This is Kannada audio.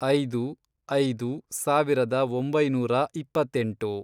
ಐದು. ಐದು, ಸಾವಿರದ ಒಂಬೈನೂರ ಇಪ್ಪತ್ತೆಂಟು